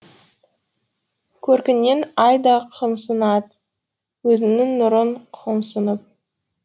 көркіңнен ай да қымсынад өзінің нұрын қомсынып